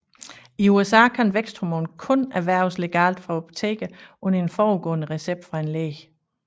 I USA kan væksthormon kun erhverves legalt fra apoteker under en forudgående recept fra en læge